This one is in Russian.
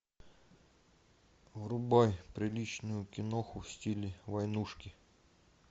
врубай приличную киноху в стиле войнушки